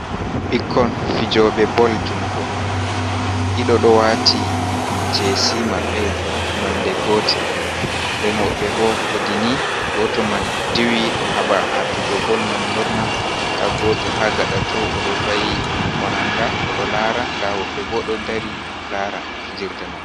Bikkon fijoɓe bol jungo. Ɗiɗo ɗo wati jesi mabbe nonɗe gotel. Nɗen wobbe bo heɗi ni gotol man ɗiwi ɗo haba atugo bol man lorna. Nɗa goto ha gaɗa too oɗo vayi koranga oɗo lara. Nɗa woɓbe bo ɗo ɗari lara fijerɗe man.